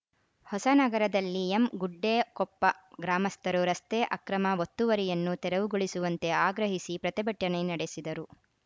ಹೊಸನಗರದಲ್ಲಿ ಎಂಗುಡ್ಡೆಕೊಪ್ಪ ಗ್ರಾಮಸ್ಥರು ರಸ್ತೆ ಅಕ್ರಮ ಒತ್ತುವರಿಯನ್ನು ತೆರವುಗೊಳಿಸುವಂತೆ ಆಗ್ರಹಿಸಿ ಪ್ರತಿಭಟನೆ ನಡೆಸಿದರು